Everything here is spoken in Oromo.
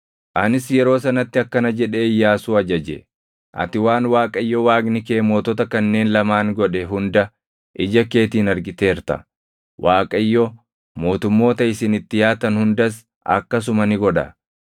Anis yeroo sanatti akkana jedhee Iyyaasuu ajaje: “Ati waan Waaqayyo Waaqni kee mootota kanneen lamaan godhe hunda ija keetiin argiteerta. Waaqayyo, mootummoota isin itti yaatan hundas akkasuma ni godha.